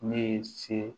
Ne ye se